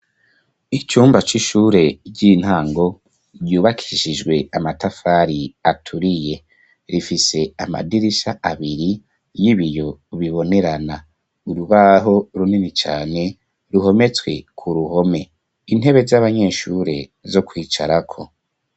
Icumba c'ishure ry'intango ryubakishijwe amatafari aturiye, rifise amadirisha abiri n'ibiyo bibonerana. Urubaho runini cane ruhometswe ku ruhome ,intebe z'abanyeshure zo kwicarako.